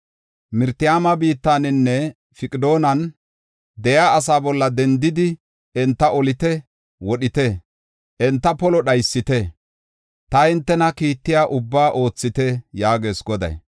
“Miraatayma biittaninne Piqodan de7iya asaa bolla dendidi enta olite; wodhite; enta polo dhaysite. Ta hintena kiittiya ubbaa oothite” yaagees Goday.